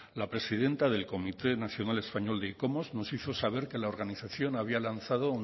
la presidenta del comité nacional español de icomos nos hizo saber que la organización había lanzado